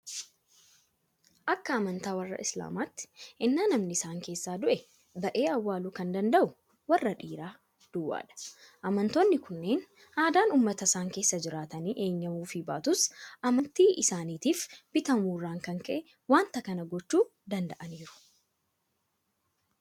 Akka amantaa warra Islaamaatti ennaa namni isaan keessaa du'e ba'ee awwaaluu kan danda'u warra dhiiraa duwwaadha. Amantoonni kunneen aadaan uummata isaan keessa jiraatanii eeyyamuufii baatus amantii isaaniitiif bitamuu irraa kan ka'e waanta kana gochuu danda'aniiru.